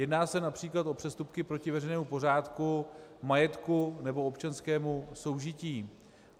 Jedná se například o přestupky proti veřejnému pořádku, majetku nebo občanskému soužití.